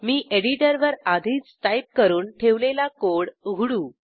मी एडिटरवर आधीच टाईप करून ठेवलेला कोड उघडू